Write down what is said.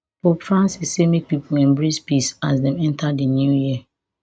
pope francis say make pipo embrace peace as dem enta di new year